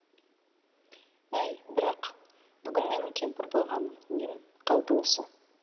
әй бірақ бүгін менің кемпір болған нем қалды осы